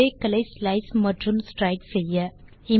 array களை slice மற்றும் stride செய்ய